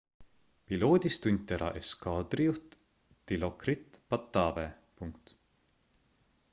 piloodis tunti ära eskaadrijuht dilokrit pattavee